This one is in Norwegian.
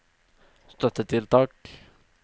støttetiltak